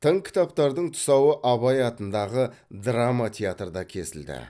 тың кітаптардың тұсауы абай атындағы драма театрда кесілді